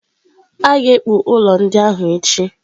A ga-ekpu ụlọ ndị ahụ echi.